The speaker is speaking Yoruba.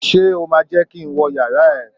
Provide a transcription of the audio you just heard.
Ṣé o máa jẹ́ kí n wọ yàrá ẹ?